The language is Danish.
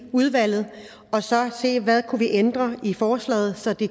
udvalget og så se hvad vi kunne ændre i forslaget så det